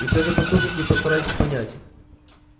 и всё же послушайте и постарайтесь понять